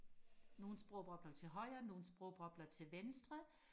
nogle sprogbobler til højre nogle sprogbobler til venstre